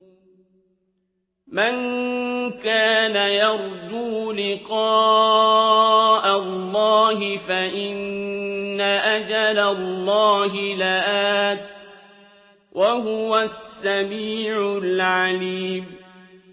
مَن كَانَ يَرْجُو لِقَاءَ اللَّهِ فَإِنَّ أَجَلَ اللَّهِ لَآتٍ ۚ وَهُوَ السَّمِيعُ الْعَلِيمُ